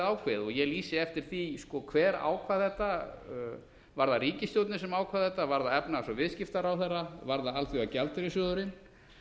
meira ákveðið ég lýsi eftir því hver ákvað þetta var það ríkisstjórnin sem ákvað þetta var það efnahags og viðskiptaráðherra var það alþjóðagjaldeyrissjóðurinn